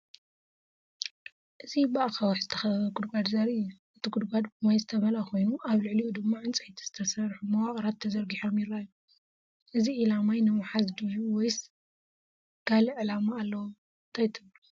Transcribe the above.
እዚ ብኣኻውሕ ዝተኸበበ ጉድጓድ ዘርኢ እዩ። እቲ ጉድጓድ ብማይ ዝተመልአ ኮይኑ ኣብ ልዕሊኡ ድማ ዕንጨይቲ ዝተሰርሑ መዋቕራት ተዘርጊሖም ይረኣዩ። እዚ ዒላ ማይ ንምሓዝ ድዩ ወይስ ካልእ ዕላማ ኣለዎ? እንታይ ትብሉ?